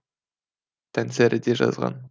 таңсәріде жазған